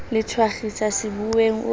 le thakgiswe sebuweng o a